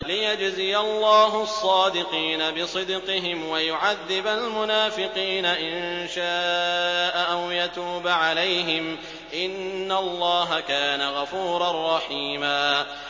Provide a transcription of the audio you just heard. لِّيَجْزِيَ اللَّهُ الصَّادِقِينَ بِصِدْقِهِمْ وَيُعَذِّبَ الْمُنَافِقِينَ إِن شَاءَ أَوْ يَتُوبَ عَلَيْهِمْ ۚ إِنَّ اللَّهَ كَانَ غَفُورًا رَّحِيمًا